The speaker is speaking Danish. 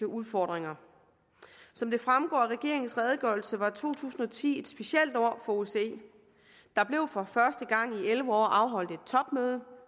udfordringer som det fremgår af regeringens redegørelse var to tusind og ti et specielt år for osce der blev for første gang i elleve år afholdt et topmøde